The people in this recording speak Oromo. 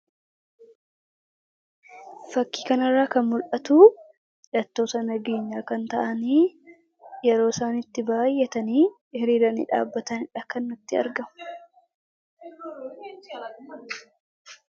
Fakkii kana irraa kan mul'atu hidhattoota nageenyaa kan ta'an yeroo isaan itti baay'atanii hiriiranii dhaabbatanidha kan natti argamu.